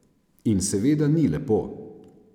In seveda ni lepo.